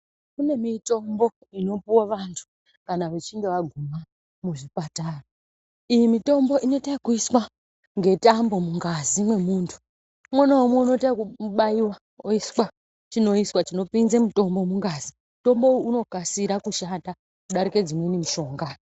Kune mitombo ino puwa vantu kana vechinge vaguma mu zvipatara iyi mutombo inoita yeku iswa nge tambo mungazi me muntu umwe na umwe unoita yeku baiwa oiswa chinoiswa chino pinze mutombo mungazi mutombo uno kasira kushanda kudarika dzimweni mushonga.